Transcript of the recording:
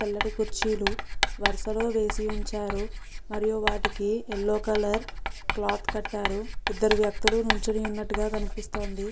తెల్లటి కుర్చీలు వరసలో వేసి ఉంచారు మరియు వాటికి ఎల్లో కలర్ క్లాత్ కట్టారు ఇద్దరు వ్యక్తులు నిల్చొని ఉన్నట్లుగా కనిపిస్తోంది .